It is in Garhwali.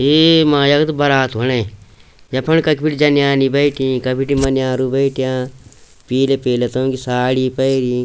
यै मा यख त बरात होणी यफण कख बिटि जनानि बैठीं क बिटि मान्यारो बैठ्याँ पीला पीला तोंकी साड़ी पैरीं।